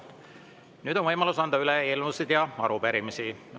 Nüüd on võimalus anda üle eelnõusid ja arupärimisi.